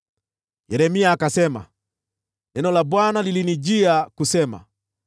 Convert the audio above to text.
Yeremia akasema, “Neno la Bwana lilinijia kusema: